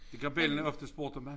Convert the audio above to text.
Det kan bellana ofte spurgte mig